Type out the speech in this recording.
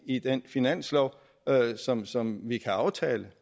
i den finanslov som som vi kan aftale